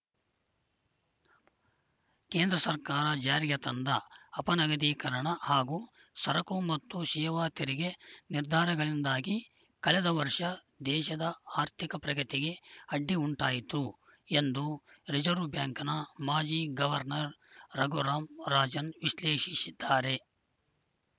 ಕೇಂದ್ರ ಸರ್ಕಾರ ಜಾರಿಗೆ ತಂದ ಅಪನಗದೀಕರಣ ಹಾಗೂ ಸರಕು ಮತ್ತು ಸೇವಾ ತೆರಿಗೆ ನಿರ್ಧಾರಗಳಿಂದಾಗಿ ಕಳೆದ ವರ್ಷ ದೇಶದ ಆರ್ಥಿಕ ಪ್ರಗತಿಗೆ ಅಡ್ಡಿ ಉಂಟಾಯಿತು ಎಂದು ರಿಸೆರ್ವೆ ಬ್ಯಾಂಕ್‌ನ ಮಾಜಿ ಗವರ್ನರ್‌ ರಘುರಾಂ ರಾಜನ್‌ ವಿಶ್ಲೇಷಿಸಿದ್ದಾರೆ